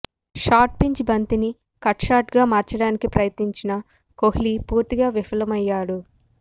short pitch బంతిని cut షాట్గా మార్చడానికి ప్రయత్నించిన కోహ్లీ పూర్తిగా విఫలమయ్యాడు